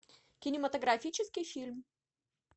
кинематографический фильм